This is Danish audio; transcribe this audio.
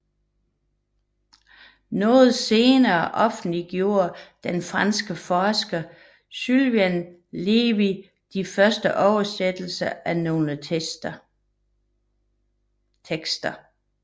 Noget senere offentliggjorde den franske forsker Sylvain Lévi de første oversættelser af nogle tekster